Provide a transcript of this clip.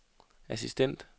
assistent